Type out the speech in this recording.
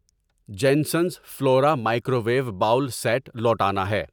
جینسنز Flora microwave bowl set لوٹانا ہے